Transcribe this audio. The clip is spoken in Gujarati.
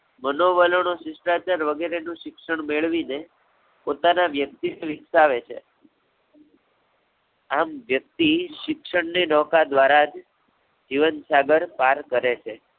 મનોવલો નો શિષ્ટાચાર વગેરે નું શિક્ષણ મેળવી ને, પોતાના વ્યક્તિ સ્વીકારે છે. આમ વ્યક્તિ શિક્ષણની નૌકા દ્વારા જ જીવન સાગર પાર કરે છે.